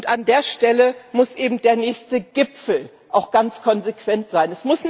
Und an der Stelle muss eben der nächste Gipfel auch ganz konsequent sein.